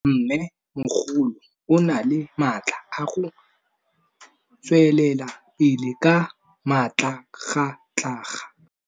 Mmêmogolo o na le matla a go tswelela pele ka matlhagatlhaga.